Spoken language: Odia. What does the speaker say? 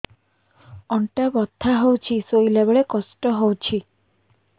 ଅଣ୍ଟା ବଥା ହଉଛି ଶୋଇଲା ବେଳେ କଷ୍ଟ ହଉଛି